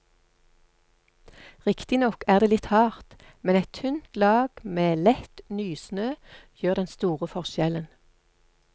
Riktignok er det litt hardt, men et tynt lag med lett nysnø gjør den store forskjellen.